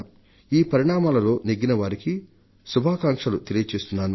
ఈ పరిణామాలలో నెగ్గినవారికి శుభాకాంక్షలు తెలియజేస్తున్నాను